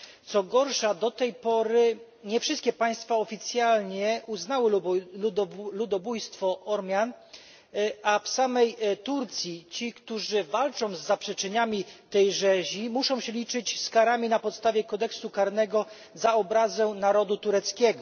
Co gorsza, do tej pory nie wszystkie państwa oficjalnie uznały ludobójstwo Ormian, a w samej Turcji ci, którzy walczą z negowaniem tej rzezi, muszą się liczyć z karami na podstawie kodeksu karnego za obrazę narodu tureckiego.